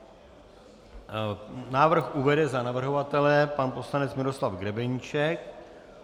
Návrh uvede za navrhovatele pan poslanec Miroslav Grebeníček.